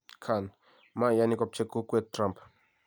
Khan: mayani kopchee kokwet trumpp